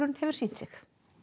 hefur sýnt sig